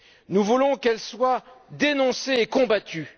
Nous voulons qu'elles soient dénoncées et combattues.